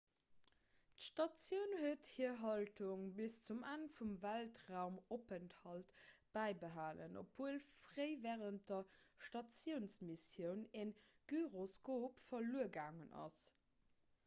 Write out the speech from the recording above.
d'statioun huet hir haltung bis zum enn vum weltraumopenthalt bäibehalen obwuel fréi wärend der statiounsmissioun e gyroskop verluer gaangen ass